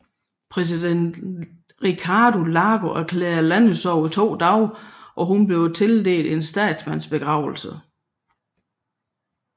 Præsident Ricardo Lagos erklærede landesorg i to dage og hun blev tildelt en statsmandsbegravelse